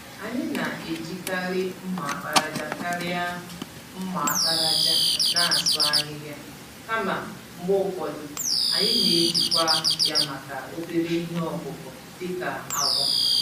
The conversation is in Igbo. Anyị na-eji karị mma àkpàràjà karị mma àkpàràjà n'asụ ahịhịa, kama mgbe ụfọdụ, anyị n'eji kwa ya màkà obere ihe ọkụkụ dị ka agwa.